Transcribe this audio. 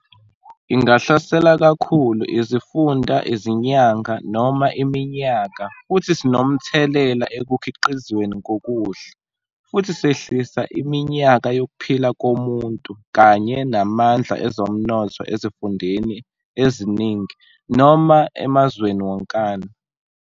Ingahlasela kakhulu izifunda izinyanga noma iminyaka futhi sinomthelela ekukhiqizweni kokudla, futhi sehlisa iminyaka yokuphila komuntu kanye namandla ezomnotho ezifundeni eziningi noma emazweni wonkana.